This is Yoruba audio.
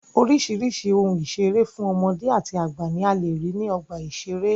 Oríṣìíríṣìí ohun ìṣere fún ọmọdé àti àgbà ní a lè rí ní ọgbà ìṣẹré.